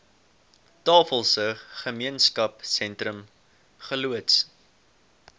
tafelsig gemeenskapsentrum geloods